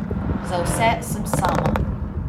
Za vse sem sama.